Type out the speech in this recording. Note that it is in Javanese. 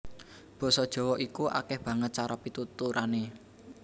Basa Jawa iku akèh banget cara pituturané